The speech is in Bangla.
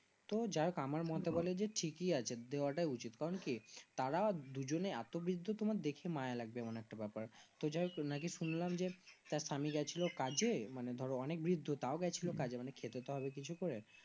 তো যাক আমার মতে বলে যে ঠিকই আছে দেওয়া তা উচিত কারণ কি তারা দুজনে এত বিদ্ধ তোমার দেখে মায়া লাগবে এমন একটা ব্যাপার তো যাই হোক নাকি শুনলাম যে তার স্বামী রা গিয়েছিলো কাজে মানে ধরো অনেক বিদ্ধ তও গেছিলো কাজে মানে খেতে তো হবে কিছু তো